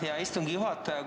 Hea istungi juhataja!